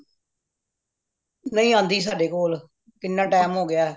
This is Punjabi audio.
ਨਹੀਂ ਆਂਦੀ ਸਾਡੇ ਕੋਲ ਕਿਹਨਾਂ time ਹੋ ਗਯਾ